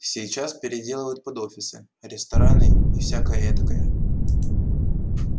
сейчас переделывают под офисы рестораны и всякое этакое